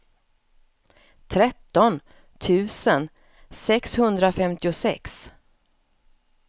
tretton tusen sexhundrafemtiosex